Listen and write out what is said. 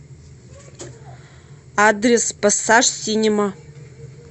адрес пассаж синема